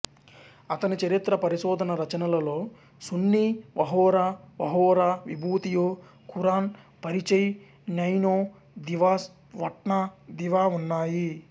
అతని చరిత్ర పరిశోధన రచనలలో సున్నీ వహోరా వహోరా విభూతియో ఖురాన్ పరిచయ్ న్యైనో దివాస్ వట్నా దివా ఉన్నాయి